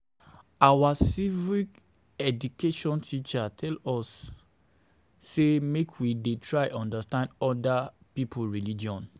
Our Civic Education teacher tell us sey make we dey try understand oda pipo religion.